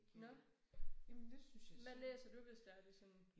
Nåh. Jamen hvad læser du hvis det er det sådan